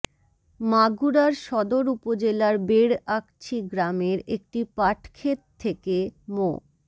মাগুরার সদর উপজেলার বেড় আকছি গ্রামের একটি পাটক্ষেত থেকে মো